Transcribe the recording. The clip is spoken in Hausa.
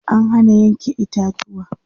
an Hana Yanke itatuwa